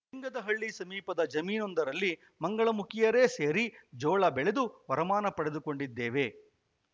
ಲಿಂಗದಹಳ್ಳಿ ಸಮೀಪದ ಜಮೀನೊಂದರಲ್ಲಿ ಮಂಗಳಮುಖಿಯರೇ ಸೇರಿ ಜೋಳ ಬೆಳೆದು ವರಮಾನ ಪಡೆದುಕೊಂಡಿದ್ದೇವೆ